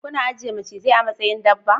Kuna ajiye macizai a matsayin dabba?